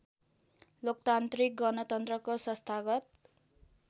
लोकतान्त्रिक गणतन्त्रको संस्थागत